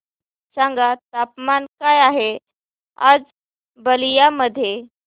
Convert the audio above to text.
सांगा तापमान काय आहे आज बलिया मध्ये